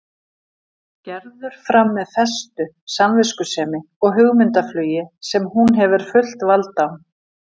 Gerður fram með festu, samviskusemi og hugmyndaflugi sem hún hefur fullt vald á.